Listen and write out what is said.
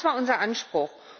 Das war unser Anspruch.